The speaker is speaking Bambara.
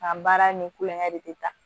K'an baara ni kulonkɛ de ta